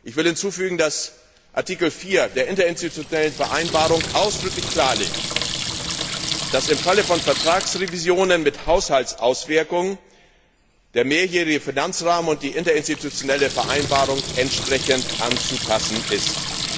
Ich will hinzufügen, dass Artikel 4 der Interinstutionellen Vereinbarung ausdrücklich klarlegt, dass im Falle von Vertragsrevisionen mit Haushaltsauswirkung der mehrjährige Finanzrahmen und die Interinstitutionelle Vereinbarung entsprechend anzupassen sind.